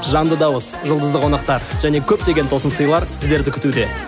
жанды дауыс жұлдызды қонақтар және көптеген тосынсыйлар сіздерді күтуде